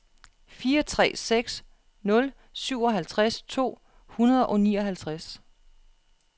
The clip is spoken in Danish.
fire tre seks nul syvoghalvtreds to hundrede og nioghalvtreds